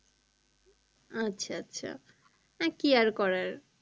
আচ্ছা আচ্ছা আহ কি আর করার